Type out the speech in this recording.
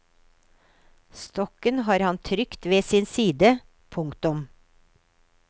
Stokken har han trygt ved sin side. punktum